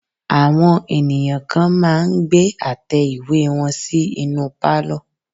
Àwọn ènìyàn kan máà ń gbé àtẹ ìwé wọn sí inú pálọ̀.